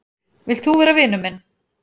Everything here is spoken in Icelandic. Vilt þú vera vinur minn?